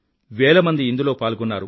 వేల మంది ఇందులో పాల్గొన్నారు